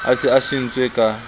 a se a swentse ka